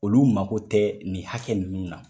Olu mago tɛ nin hakɛ ninnu na.